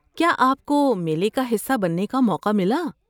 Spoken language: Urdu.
کیا آپ کو میلے کا حصہ بننے کا موقع ملا؟